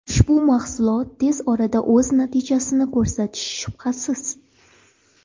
Ushbu mahsulot tez orada o‘z natijasini ko‘rsatishi shubhasiz.